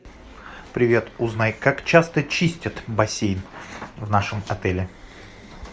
привет узнай как часто чистят бассейн в нашем отеле